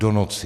Do noci.